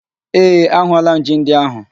Ee, ahụọla m ji ndị ahụ